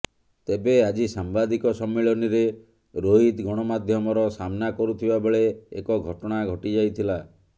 ତେବେ ଆଜି ସାମ୍ବାଦିକ ସମ୍ମିଳନୀରେ ରୋହିତ ଗଣମାଧ୍ୟମର ସାମନା କରୁଥିବା ବେଳେ ଏକ ଘଟଣା ଘଟିଯାଇଥିଲା